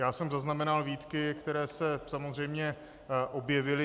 Já jsem zaznamenal výtky, které se samozřejmě objevily.